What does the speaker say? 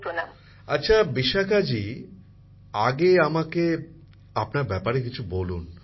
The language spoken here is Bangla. প্রধানমন্ত্রী জীঃ আচ্ছা বিশাখাজি আগে আমাকে আপনার ব্যাপারে কিছু বলুন